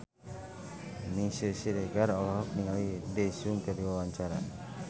Meisya Siregar olohok ningali Daesung keur diwawancara